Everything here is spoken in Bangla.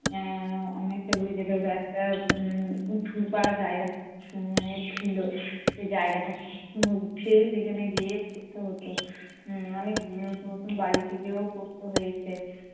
এর অনেকটা দূরে যেতে হতো একটা উম উঁচুপা জায়গা উম মানে ছিল। সেই জায়গাটা উঠে সেখানে গিয়ে পড়তে হতো। অনেক নতুন নতুন বাড়িতে গিয়েও পড়তে হয়েছে।